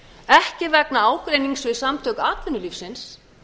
ekki vegna ágreinings við samtök atvinnulífsins